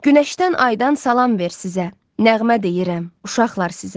Günəşdən aydan salam ver sizə, nəğmə deyirəm uşaqlar sizə.